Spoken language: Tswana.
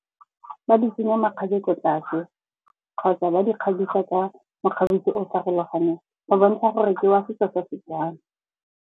Ba di tsenya makgabe ko tlase kgotsa ba di kgabisa ka mokgabiso o o farologaneng, go bontsha gore ke wa setso se se jang.